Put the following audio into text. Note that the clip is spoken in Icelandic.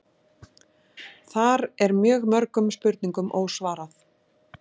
Þar er mjög mörgum spurningum ósvarað